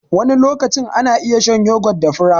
Wani lokacin ana iya shan yogot da fura.